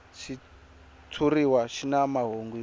xitshuriwa xi na mahungu yo